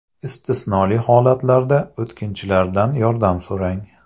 Istisnoli holatlarda o‘tkinchilardan yordam so‘rang.